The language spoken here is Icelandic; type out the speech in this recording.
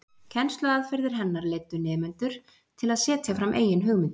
Kennsluaðferðir hennar leiddu nemendur til að setja fram eigin hugmyndir.